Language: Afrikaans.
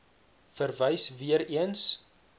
verwys weer eens